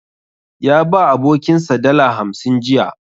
Ya ba abokinsa dala hamsin jiya.